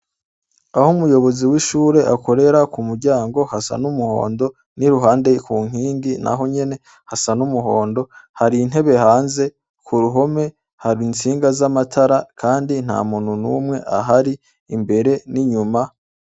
Aho umuyobozi w'ishure akorera, ku muryango hasa n'umuhondo n'iruhande ku nkingi naho nyene hasa n'umuhondo. Hari intebe hanze, k'uruhome, hari intsinga z'amatara kandi ntamuntu ahari imbere n'inyuma.